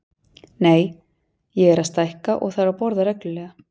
Nei, ég er að stækka og þarf að borða reglulega.